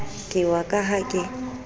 ke wa ka ha ke